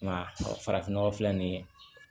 Nka farafin nɔgɔ filɛ nin ye